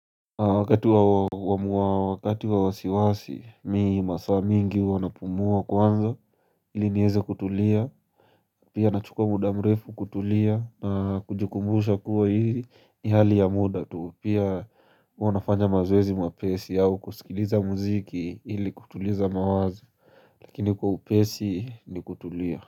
Wakati wa wasiwasi mii masaa mingi huwana pumua kwanza ili nieze kutulia Pia nachukua muda mrefu kutulia na kujikumbusha kuwa hizi ni hali ya muda tu Pia wanafanya mazoezi mwapesi au kusikiliza muziki ili kutuliza mawazo Lakini kwa upesi ni kutulia.